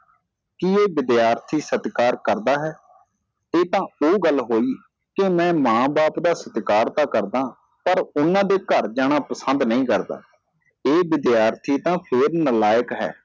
ਕਿ ਇਹ ਵਿਦਿਆਰਥੀ ਸਤਿਕਾਰ ਕਰਦਾ ਹੈ ਇਹ ਤਾਂ ਉਹ ਗੱਲ ਹੋਈ ਕਿ ਮੈ ਮਾਂ ਬਾਪ ਦਾ ਸਤਿਕਾਰ ਤਾਂ ਕਰਦਾ ਹਾਂ ਪਰ ਉਹਨਾਂ ਦੇ ਘਰ ਜਾਣਾ ਪਸੰਦ ਨਹੀ ਕਰਦਾ ਇਹ ਵਿਦਿਆਰਥੀ ਤਾਂ ਫੇਰ ਨਾਲਾਇਕ ਹੈ